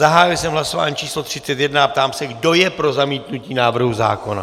Zahájil jsem hlasování číslo 31 a ptám se, kdo je pro zamítnutí návrhu zákona.